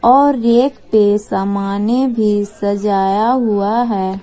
और रेक पे समाने भी सजाया हुआ है।